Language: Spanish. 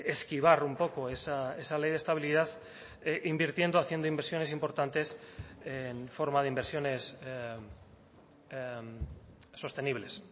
esquivar un poco esa ley de estabilidad invirtiendo haciendo inversiones importantes en forma de inversiones sostenibles